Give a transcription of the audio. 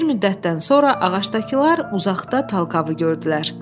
Bir müddətdən sonra ağacdakılar uzaqda Talkavı gördülər.